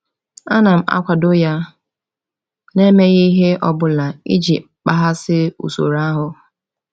A na m akwado ya, na-emeghị ihe ọ bụla iji kpaghasị usoro ahụ?